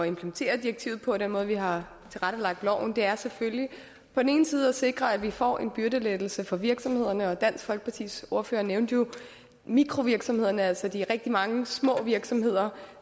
implementere direktivet på og den måde vi har tilrettelagt loven på er selvfølgelig på den ene side at sikre at vi får en byrdelettelse for virksomhederne og dansk folkepartis ordfører nævnte jo mikrovirksomhederne altså de rigtig mange små virksomheder